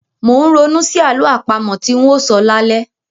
Mò ń ronú sí àlọ́ àpamọ tí ń óò sọ lálẹ́.